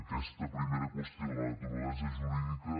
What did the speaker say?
aquesta primera qüestió de la naturalesa jurídica